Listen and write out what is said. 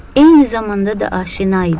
Eyni zamanda da aşina idi.